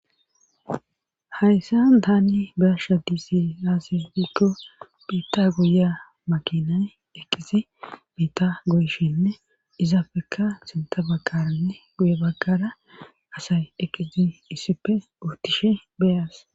Hayssa daani beasha disi aasisbikko biita guya makinay eqqizi miita goyshinne izapfekka sinta bagkaranne guya bagkara asay eqisi issipfe uotishe beyas.